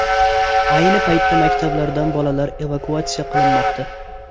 Ayni paytda maktablardan bolalar evakuatsiya qilinmoqda.